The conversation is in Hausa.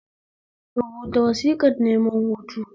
Rubata wasiƙar neman hutu